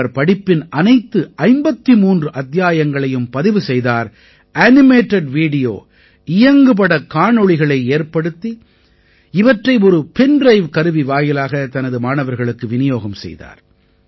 இவர் படிப்பின் அனைத்து 53 அத்தியாயங்களையும் பதிவு செய்தார் அனிமேட்டட் வீடியோ இயங்குபடக் காணொளிகளை ஏற்படுத்தி இவற்றை ஒரு பென் ட்ரைவ் கருவி வாயிலாக தனது மாணவர்களுக்கு விநியோகம் செய்தார்